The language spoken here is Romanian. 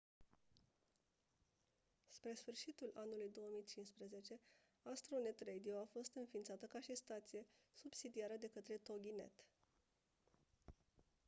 spre sfârșitul anului 2015 astronet radio a fost inființată ca și stație subsidiară de către toginet